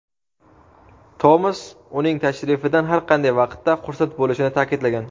Tomas uning tashrifidan har qanday vaqtda xursand bo‘lishini ta’kidlagan.